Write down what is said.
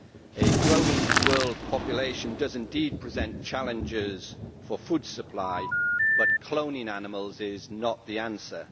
A growing world population does indeed present challenges for food supply, but cloning animals is not the answer.